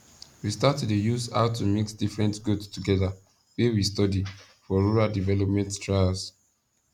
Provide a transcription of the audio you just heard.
we start to dey use how to mix different goat togeda wey we study for rural development trials